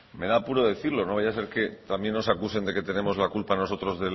me da apuro decirlo no vaya a ser que también nos acusen de que tenemos la culpa nosotros